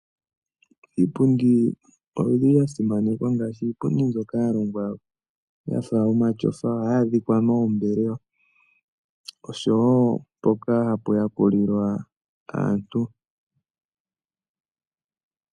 Iipundi oyi li ya simanekwa ngaashi iipundi mbyoka ya longwa ya fa omatyofa ohayi adhika moombelewa osho wo mpoka hapu yakulilwa aantu.